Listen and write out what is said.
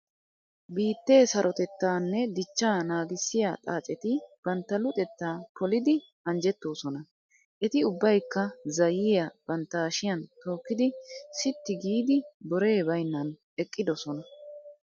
Biittee sarotettaa nne dichchaa naagissiya xaaceti bantta luxettaa polidi anjjettosona. Eti ubbaykka zayyiya bantta hashiyan tookkidi sitti giidi boree baynnan eqqidosona.